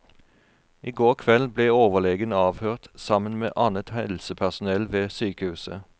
I går kveld ble overlegen avhørt sammen med annet helsepersonell ved sykehuset.